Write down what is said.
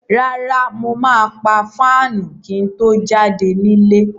Rárá, mo máa pa fáànù kí n tó jáde nílé.